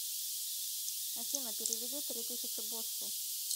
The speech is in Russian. афина переведи три тысячи боссу